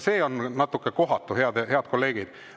See on natuke kohatu, head kolleegid.